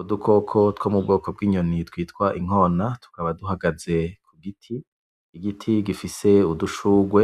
Udukoko two mubwoko bw'inyoni twitwa inkona tukaba duhagaze kugiti, igiti gifise udushugwe